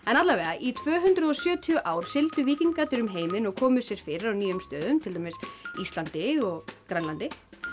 í tvö hundruð og sjötíu ár sigldu víkingarnir um heiminn og komu sér fyrir á nýjum stöðum til dæmis Íslandi og Grænlandi